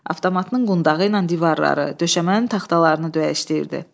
Avtomatının qundağı ilə divarları, döşəmənin taxtalarını döyəşdirirdi.